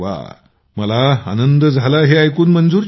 अरे वा मला आनंद झाला हे ऐकून